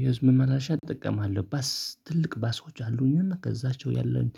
የህዝብ መመላለሻ እጠቀማለሁ። ባስ ትልቅ ባሶች አሉኝና ከዛቸው ያለኝ